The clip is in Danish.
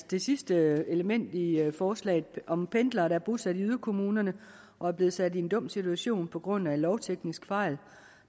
det sidste element i forslaget om pendlere der er bosat i yderkommunerne og er blevet sat i en dum situation på grund af en lovteknisk fejl